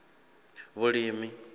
vhulimi